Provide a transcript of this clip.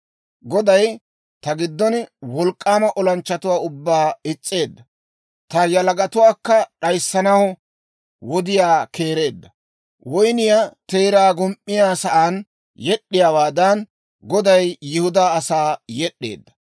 Goday ta giddon wolk'k'aama olanchchatuwaa ubbaa is's'eedda. Ta yalagatuwaakka d'ayissanaw wodiyaa keereedda. Woynniyaa teeraa gum"iyaa sa'aan yed'd'iyaawaadan, Goday Yihudaa asaa yed'd'eedda.